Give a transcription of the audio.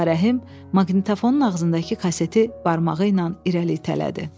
Ağarəhim maqnitafonun ağzındakı kaseti barmağı ilə irəli itələdi.